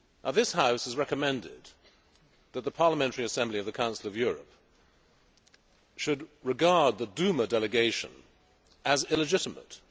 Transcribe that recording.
This House has recommended that the parliamentary assembly of the Council of Europe should regard the Duma delegation as illegitimate.